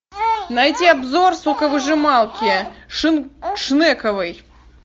найти обзор соковыжималки шнековой